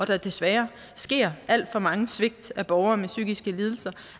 desværre sker alt for mange svigt af borgerne med psykiske lidelser